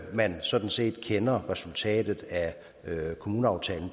man sådan set kender resultatet af kommuneaftalen